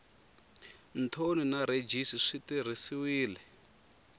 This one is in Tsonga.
thoni na rhejisi swi tirhisiwile